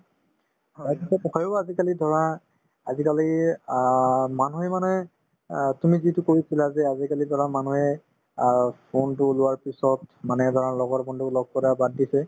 তাৰপিছত আজিকালি ধৰা আজিকালি অ মানুহে মানে অ তুমি যিটো কৈছিলা যে আজিকালি ধৰা মানুহে অ phone তো লোৱাৰ পিছত মানে ধৰা লগৰ বন্ধুক লগ কৰা বাদ দিছে